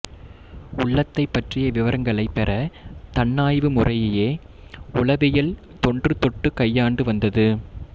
உள்ளத்தைப் பற்றிய விவரங்களைப் பெறத் தன்னாய்வு முறையையே உளவியல் தொன்றுதொட்டுக் கையாண்டு வந்தது